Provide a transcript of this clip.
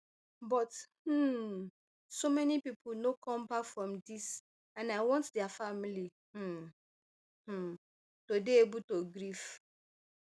but um so many pipo no come back from dis and i want dia families um um to dey able to grieve